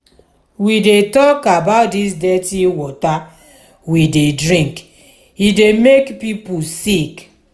we dey tok about dis dirty water we dey drink e dey make pipo sick.